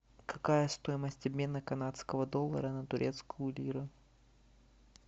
какая стоимость обмена канадского доллара на турецкую лиру